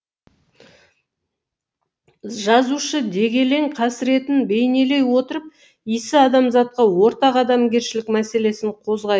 жазушы дегелең қасіретін бейнелей отырып исі адамзатқа ортақ адамгершілік мәселесін қозғайды